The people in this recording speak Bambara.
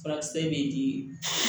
Furakisɛ bɛ di